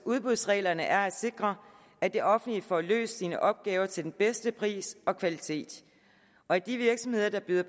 udbudsreglerne er at sikre at det offentlige får løst sine opgaver til den bedste pris og kvalitet og at de virksomheder der byder